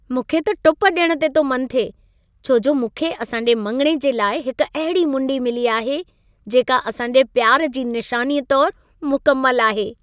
मूंखे त टुप ॾियण ते तो मन थिए, छो जो मूंखे असांजे मङिणे जे लाइ हिक अहिड़ी मुंडी मिली आहे जेका असां जे प्यार जी निशानीअ तोर मुकमल आहे।